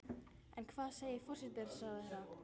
En hvað segir forsætisráðherra?